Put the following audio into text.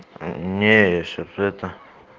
не я сейчас это